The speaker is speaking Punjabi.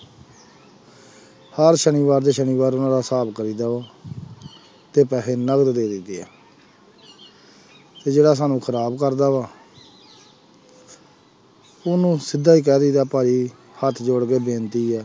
ਹਰ ਸਨੀਵਾਰ ਦੇ ਸਨੀਵਾਰ ਉਹਨਾਂ ਦਾ ਹਿਸਾਬ ਕਰੀਦਾ ਵਾ ਤੇ ਪੈਸੇ ਨਕਦ ਦੇ ਦੇਈਦੇ ਹੈ ਤੇ ਜਿਹੜਾ ਸਾਨੂੰ ਖ਼ਰਾਬ ਕਰਦਾ ਵਾ ਉਹਨੂੰ ਸਿੱਧਾ ਹੀ ਕਹਿ ਦੇਈਦਾ ਭਾਈ ਹੱਥ ਜੋੜ ਕੇ ਬੇਨਤੀ ਹੈ,